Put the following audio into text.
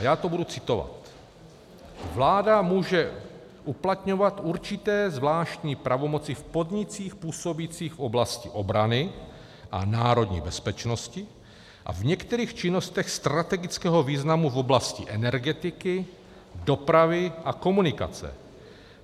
A já to budu citovat: Vláda může uplatňovat určité zvláštní pravomoci v podnicích působících v oblasti obrany a národní bezpečnosti a v některých činnostech strategického významu v oblasti energetiky, dopravy a komunikací.